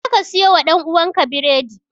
Jeka siyowa ɗan'uwanka biredi!